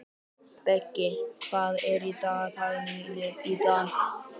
Beggi, hvað er í dagatalinu mínu í dag?